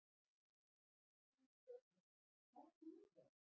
Hrund Þórsdóttir: Hvað varstu lengi að þessu?